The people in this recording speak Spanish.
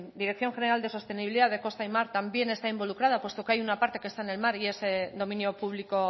dirección general de sostenibilidad de costa y mar también está involucrada puesto que hay una parte que está en el mar y es dominio público